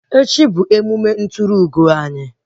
Echi bụ grajuashọn anyị